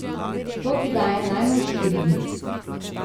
To ti daje najmanj štiri dni.